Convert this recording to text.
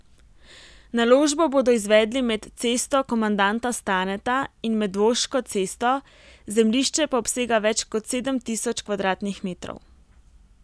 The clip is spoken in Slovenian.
Naložbo bodo izvedli med Cesto komandanta Staneta in Medvoško cesto, zemljišče pa obsega več kot sedem tisoč kvadratnih metrov.